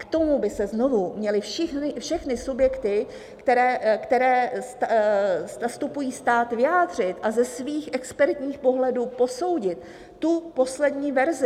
K tomu by se znovu měly všechny subjekty, které zastupují stát, vyjádřit a ze svých expertních pohledů posoudit tu poslední verzi.